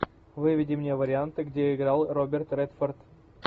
выведи мне варианты где играл роберт редфорд